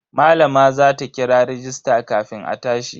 Malama za ta kira rajista kafin a tashi.